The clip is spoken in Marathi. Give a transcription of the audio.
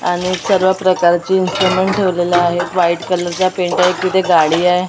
आणि सर्व प्रकारचे इन्सट्रूमेंट्स ठेवलेले आहेत व्हाईट कलरचा पेंट आहे तिथे गाडी आहे .